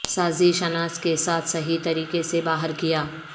سازش اناج کے ساتھ صحیح طریقے سے باہر کیا